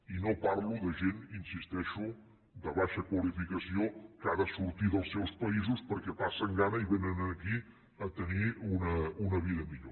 i no parlo de gent hi insisteixo de baixa qualificació que ha de sortir dels seus països perquè passen gana i vénen aquí a tenir una vida millor